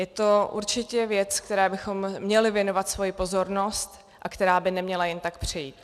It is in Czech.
Je to určitě věc, které bychom měli věnovat svoji pozornost a která by neměla jen tak přejít.